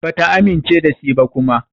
Bata amince da shi ba kuma.